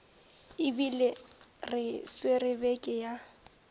ebile re swere beke ya